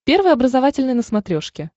первый образовательный на смотрешке